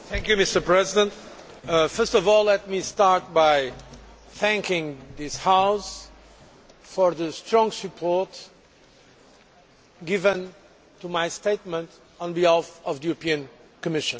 Mr President, first of all, let me start by thanking this House for the strong support given to my statement on behalf of the European Commission.